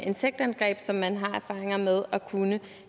insektangreb som man har erfaringer med at kunne